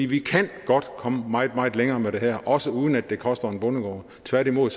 vi kan godt komme meget meget længere med det her også uden at det koster en bondegård tværtimod